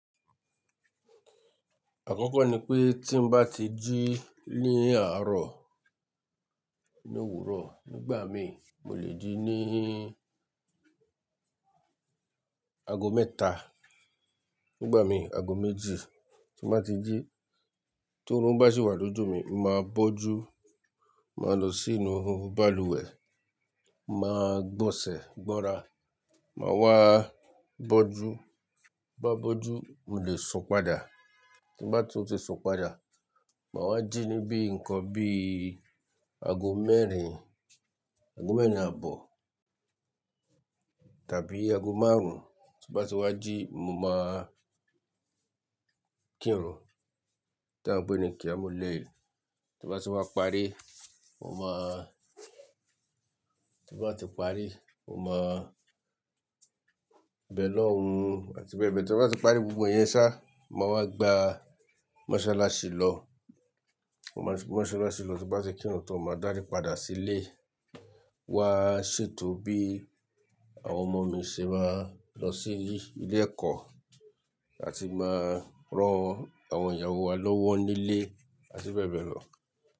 Àkọ́kọ́ ni pé tí n bá ti jí ní àárọ̀ nínú òwúrọ̀ nígbà mi, mo lè jí ní ago mẹ́ta. Nígbà mi ago méjì tí n bá ti jí. Torúnbá sì wà lójú mi, mo máa bọ́jú, máa lọ sínú balùwẹ̀, máa gbọ̀sẹ̀ gbọ́ra, màá wá bọ́jú. Bí mo bá bọ́jú, mo lè sún padà. Tí n bá ti sún padà, màá wá jí níbí nǹkan bí ago mẹ́rin, ago mẹ́rin àbọ̀ tàbí ago márùn-ún. Tí n bá ti wá jí, mo máa kírun, tí wọ́n ń pè ní kíámu layl. Tí n bá ti wá parí, mo máa, tí n bá ti parí, mo máa bẹ̀ lọ́hun àti bẹ́ẹ̀ bẹ́ẹ̀. Tí n bá ti parí gbogbo ẹ̀yẹn ṣá, màá wá gba mọ́sálásí lọ. Mo máa gba mọ́sálásí lọ, tí n bá ti kírun tán, mo máa dárí padà sílé. Wa ṣètò bí àwọn ọmọ mi ṣe máa lọ sí ilé ẹ̀kọ́ àti máa rán àwọn ìyàwó wa lọ́wọ́ nílé àti bẹ́ẹ̀ bẹ́ẹ̀ lọ.